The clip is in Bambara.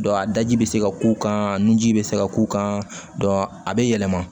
a daji bɛ se ka k'u kan nunji bɛ se ka k'u kan a bɛ yɛlɛma